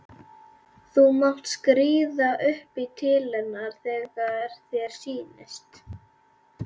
Þú mátt skríða upp í til hennar þegar þér sýnist.